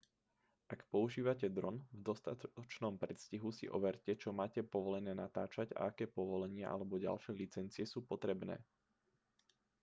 ak používate dron v dostatočnom predstihu si overte čo máte povolené natáčať a aké povolenia alebo ďalšie licencie sú potrebné